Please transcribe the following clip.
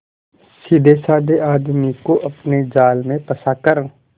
सीधेसाधे आदमी को अपने जाल में फंसा कर